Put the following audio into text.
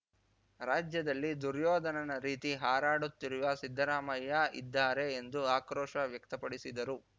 ರಾಜ್ಯದಲ್ಲಿ ದುರ್ಯೋಧನನ ರೀತಿ ಹಾರಾಡುತ್ತಿರುವ ಸಿದ್ದರಾಮಯ್ಯ ಇದ್ದಾರೆ ಎಂದು ಆಕ್ರೋಶ ವ್ಯಕ್ತಪಡಿಸಿದರು